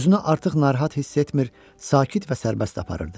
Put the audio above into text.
Özünü artıq narahat hiss etmir, sakit və sərbəst aparırdı.